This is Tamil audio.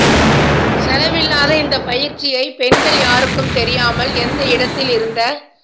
செலவில்லாத இந்தப் பயிற்சியை பெண்கள் யாருக்கும் தெரியாமல் எந்த இடத்தில் இருந்த